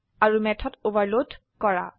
আৰু method overload কৰা